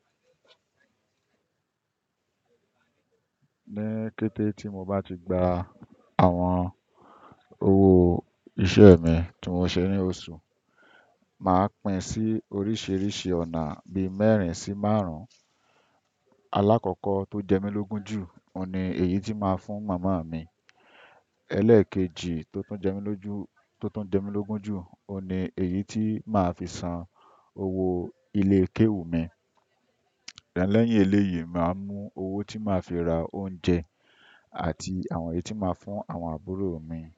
Ní kété tí mo bá ti gba àwon owó isẹ́ mi tí mo ṣé ní oṣù, màá pin sí oríṣìíríṣìí ọ̀nà bí mẹ́rin sí márùn-ún. Alákọ̀ọ́kọ́ tó jẹ mí lógun jù ọ̀ ní èyí tí máa fún momo mi. Élékéjì tótún jẹ́ mí lógun jù ọ̀ ní èyí tí máa fi san owó ilé kéwú mi. Lẹ́yin eléyìí máa mú owó tí màá fi ra oúnjẹ àti àwọn èyí tí máa fún àwọn àbúrò mi.